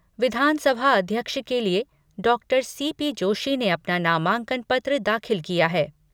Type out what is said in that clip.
विधानसभा अध्यक्ष के लिए डॉक्टर सी पी जोशी ने अपना नामांकन पत्र दाखिल किया है।